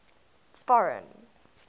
foreign